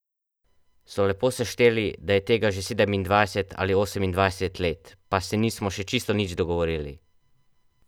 So lepo sešteli, da je tega že sedemindvajset ali osemindvajset let, pa se nismo še čisto nič dogovorili.